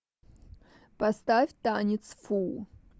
поставь танец фу